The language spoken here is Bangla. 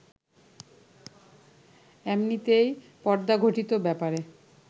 এমনিতেই পর্দাঘটিত ব্যাপারে